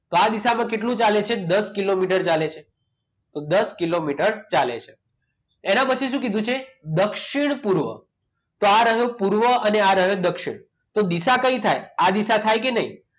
તો આ દિશામાં કેટલું ચાલે છે દસ કિલોમીટર ચાલે છે તો દસ કિલોમીટર ચાલે છે એના પછી શું કીધું છે દક્ષિણ પૂર્વ તો આ રહ્યું પૂર્વ અને આ દક્ષિણ દિશા કઈ થાય આ દિશા થાય કે નહીં